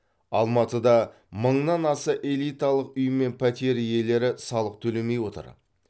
алматыда мыңнан аса элиталық үй мен пәтер иелері салық төлемей отыр